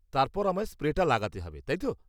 তারপর আমায় স্প্রেটা লাগাতে হবে, তাই তো?